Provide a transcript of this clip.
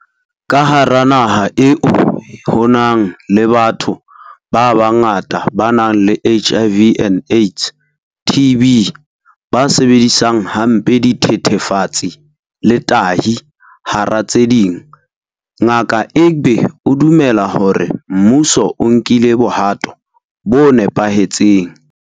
Ka hara naha eo ho nang le batho ba bangata ba nang le HIV and AIDS, TB, ba sebedisang hampe dithethefatsi le tahi, hara tse ding, Ngaka Egbe o dumela hore mmuso o nkile bohato bo nepahetseng.